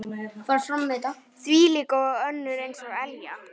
Þvílík og önnur eins elja.